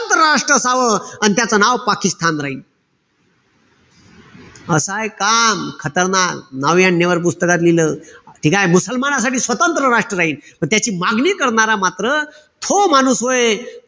स्वतंत्र राष्ट्र असावं. अन त्याच नाव पाकिस्तान राहीन. असय काम, यांनी पुस्तकात लिहिलं. ठीकेय? मुसलमानांसाठी स्वतंत्र राष्ट्र राहीन. म त्याची मागणी करणारा मात्र तो माणूस व्हय,